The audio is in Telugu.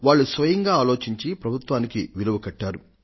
వాళ్లు స్వయంగా ఆలోచించి ప్రభుత్వానికి విలువ కట్టారు